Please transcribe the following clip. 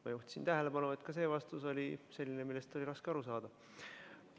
Ma juhtisin tähelepanu, et ka see vastus oli selline, millest oli raske aru saada.